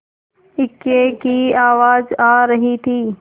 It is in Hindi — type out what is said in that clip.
इक्के की आवाज आ रही थी